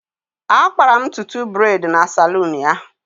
Akpara'm ntutu braid na saloon ya